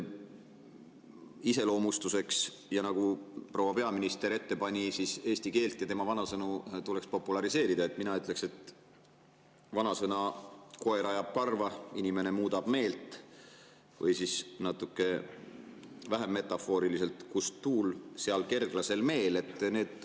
Iseloomustuseks, nagu proua peaminister ette pani, et eesti keelt ja selle vanasõnu tuleks populariseerida, ütleksin ma vanasõna "Koer ajab karva, inimene muudab meelt" või siis natuke vähem metafooriliselt "Kust tuul, sealt kerglasel meel".